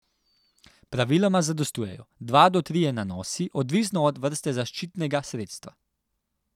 Praviloma zadostujejo dva do trije nanosi, odvisno od vrste zaščitnega sredstva.